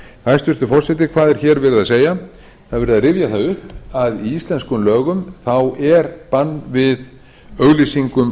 hæstvirtur forseti hvað er hér verið að segja það er verið að rifja það upp að í íslenskum lögum þá er bann við auglýsingum